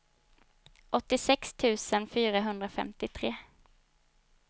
åttiosex tusen fyrahundrafemtiotre